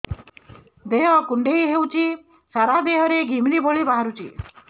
ଦେହ କୁଣ୍ଡେଇ ହେଉଛି ସାରା ଦେହ ରେ ଘିମିରି ଭଳି ବାହାରୁଛି